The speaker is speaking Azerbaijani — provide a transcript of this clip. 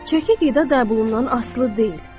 Çəki qida qəbulundan asılı deyil.